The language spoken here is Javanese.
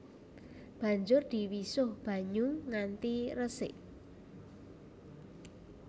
Banjur diwisuh banyu nganti resik